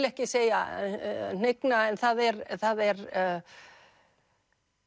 ekki segja hnigna en það er það er